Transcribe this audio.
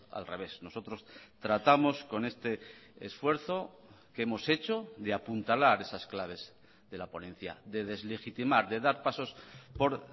al revés nosotros tratamos con este esfuerzo que hemos hecho de apuntalar esas claves de la ponencia de deslegitimar de dar pasos por